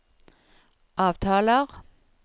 avtaler